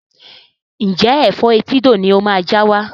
Ǹjẹ́ Ẹ̀fọ́ etídò ni ó máa já wá?